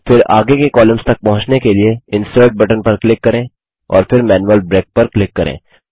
फिर आगे के कॉलम्स तक पहुँचने के लिए इंसर्ट बटन पर क्लिक करें और फिर मैनुअल ब्रेक पर क्लिक करें